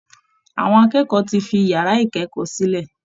Àwọn akẹ́kọ̀ọ́ ti fi yàrá ìkẹ́kọ̀ọ́ sílẹ̀